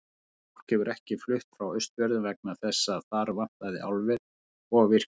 En fólk hefur ekki flutt frá Austfjörðum vegna þess að þar vantaði álver og virkjun.